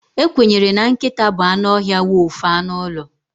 Ekwenyere na nkịta bụ anụ ọhịa wolf anụ ụlọ.